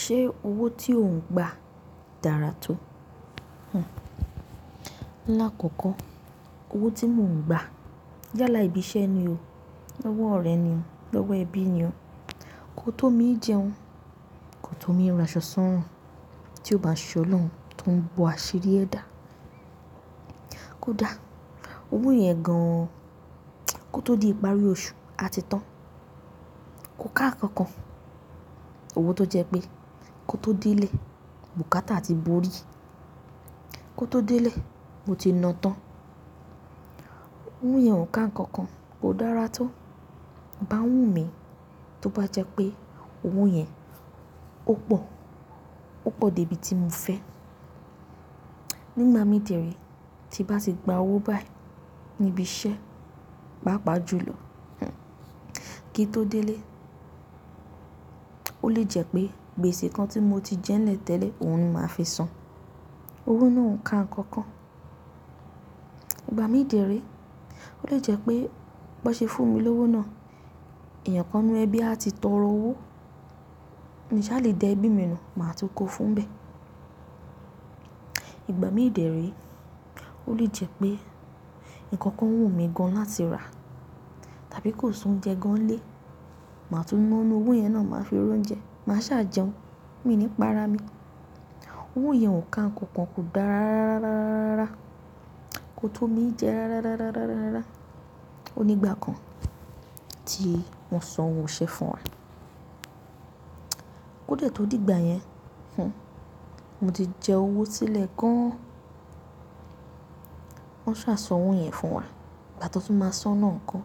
Ṣé owó tí ò ń gba dára tó? Lákòókò owó tí mo ń gba yálà ibi iṣẹ́ ni o, lọ́wọ́ ọ̀rẹ́ ni o, lọ́wọ́ ẹbí ni o. Kò tó mi jẹun, kò tó mi ra aṣọ sọ́run tí ó bá ṣe ọlọ́run tó ń bọ àṣiri ẹda. Kódá owó yẹn gan kò tó di ìparí oṣù a ti tán. Kò ká nǹkan kan. Owó tó jẹ pé kó tó dé ilé, bùkátà ti bórí, kó tó dé ilé mo ti na tán. Owó yẹn ò ka nǹkan kan, kò dára tó. Ìbá ń wù mí tó bá jẹ́ pé owó yẹn ó pọ̀, ó pọ̀ dé ibi tí mo fẹ́. Nígbà mí de re tí bá ti gba owó báyìí níbi iṣẹ́, papà jú lò. Kí n ó tó dé ilé ó lè jẹ́ pé gbèsè kan tí mo ti jẹ́ nlẹ̀ tẹ́lẹ̀ òun ni màá fi san. Owó náà ò ka nǹkan kan. Ìgbà mí de re ó lè jẹ́ pé bó ṣe fún mi lówó náà, èèyàn kan nu ẹbí a ti tọrọ owó. Mi sà lè dẹ ẹbí mi nu, màá tún kó fún bẹ̀. Ìgbà mí de re ó lè jẹ́ pé nǹkan kan wù mí gan láti rà tàbí kó sí oúnjẹ gan lé, màá tún ná nu owó yẹn náà màá fi roúnjẹ, màá sá jẹun, mí ní párá mi. Owó yẹn ò ka nǹkan kan, kò dára rárá rárá rárá, kò tó mi í jẹ rárá rárá rárá. Ó nígbà kan tí wọ́n san owó iṣẹ́ fún wa. Kó de tó dìgbà yẹn, mo ti jẹ owó sílẹ̀ gan. Wọ́n sá san owó yẹn fún wa, ìgbà tó tún máa san náà ń kọ́.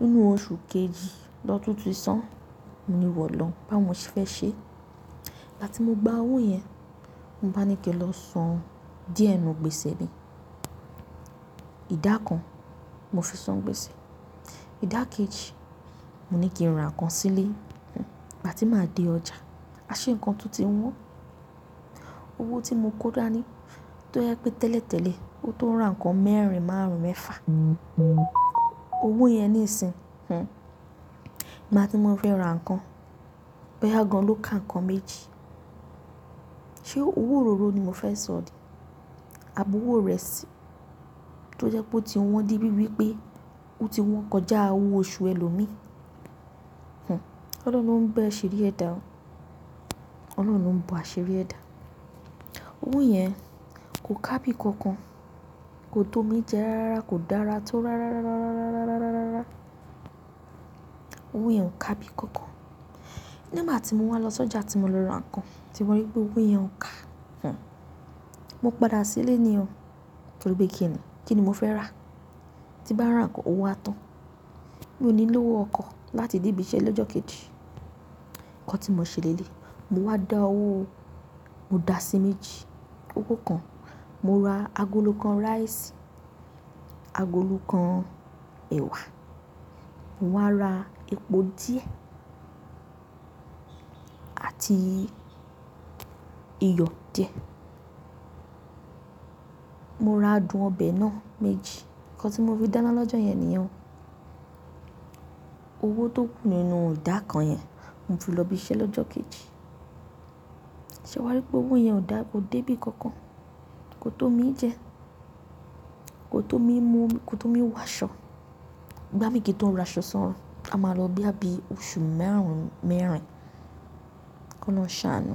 Nínú oṣù kejì lọ́tun ti san mo ni iwọ̀ olọhun bá wọ mo ṣe fẹ́ ṣe. Ìgbà tí mo gba owó yẹn, mo bá ní kí n lọ san díẹ̀ nínú gbèsè mi. Ìdá kan mo fi san gbèsè. Ìdákẹ́jì mo ní kí n ra nǹkan sílé. Ìgbà tí màá dé ọjà, a ṣe nǹkan tún ti wọ́n. Owó tí mo kó dáa ní tó jẹ́ pé tẹ́lẹ̀tẹ́lẹ̀, ó tó ran nǹkan mẹ́rin márùn mẹ́fà. Owó yẹn nísin, màá tí mo fi ra nǹkan, bo ya gan ló ka nǹkan méjì. Ṣé owó òróró ni mo fẹ́ sọ̀ní? Àbowó irẹ̀sí tó jẹ́ pé ó ti wọ́n dé bíi wípé ó ti wọ́n kọjá owó oṣù ẹlòmíì. Ọlọ́run ń bẹ́ àṣiri ẹ da o. Ọlọ́run lo ń bọ àṣiri ẹda. Owó yẹn kò kábí nǹkan kan, kò tó mi jẹ rárá, kò dára tó rárá. Owó yẹn ò ká bí nǹkan kan. Nígbà tí mo wá lọ sójà tí mo lọ ra nǹkan, tí mo rí pé owó yẹn ò ká, mo padà sílé ní o torí pé kíni? Kí ni mo fẹ́ rà? Tí bá ra nǹkan owó a tán. Mi ò ní lówó ọkọ̀ láti dé ibi iṣẹ́ lọ́jọ́ kejì. Ǹkan tí mo ṣe léleyi, mo wá dá owó, mo dà sí méjì, owó kan. Mo ra agolo kan rice, agolo kan ẹwà. Mo wá ra epo díẹ̀ àti iyọ̀ díẹ̀. Mo ra adùn ọbẹ̀ náà méjì. Ǹkan tí mo fí dáńá lọ́jọ́ yẹn nìyẹn o. Owó tó kù nínú idà kan yẹn mo fi lọ ibi iṣẹ́ lọ́jọ́ kejì. Ṣé wàá rí pé owó yẹn ò dáa, kò dé bí nǹkan kan, kò tó mi jẹ, kò tó mi mú, kò tó mi wọ aṣọ. Ìgbà mí kì í tó n ra aṣọ sọ́run, a máa lọ bo ya bí oṣù márùn mẹ́rin Kọ́lohun ṣàánú.